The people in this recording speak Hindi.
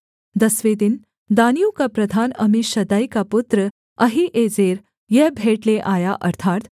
दसवें दिन दानियों का प्रधान अम्मीशद्दै का पुत्र अहीएजेर यह भेंट ले आया